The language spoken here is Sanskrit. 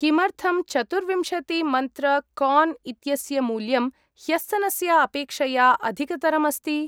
किमर्थं चतुर्विंशति मन्त्र कार्न् इत्यस्य मूल्यं ह्यस्तनस्य अपेक्षया अधिकतरम् अस्ति?